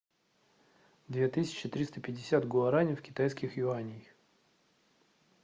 две тысячи триста пятьдесят гуарани в китайских юанях